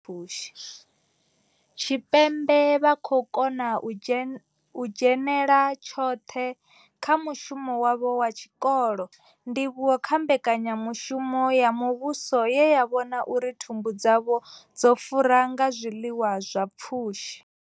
Tshipembe vha khou kona u dzhenela tshoṱhe kha mushumo wavho wa tshikolo, ndivhuwo kha mbekanyamushumo ya muvhuso ye ya vhona uri thumbu dzavho dzo fura nga zwiḽiwa zwi na pfushi.